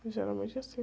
Geralmente é assim.